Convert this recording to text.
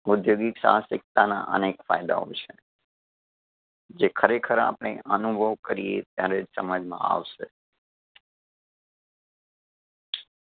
ઉધ્યોગિક સા હસિકતાના અનેક ફાયદાઓ છે, જે ખરેખર આપણે અનુભવ કરીએ ત્યારે જ સમજમાં આવશે.